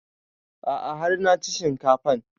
A'a har na ci shinkafan